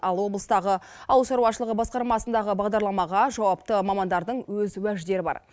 ал облыстағы ауыл шаруашылығы басқармасындағы бағдарламаға жауапты мамандардың өз уәждері бар